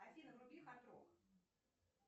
афина вруби хард рок